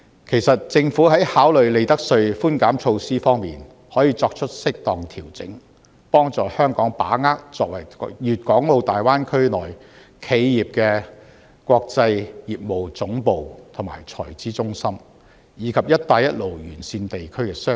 其實，政府在考慮利得稅寬減措施方面，可以作出適當調整，幫助香港把握作為粵港澳大灣區內企業的國際業務總部及財資中心，以及"一帶一路"沿線地區的商機。